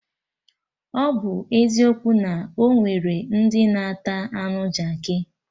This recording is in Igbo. Ọ bụ eziokwu na onwere ndị na-ata anụ Jaakị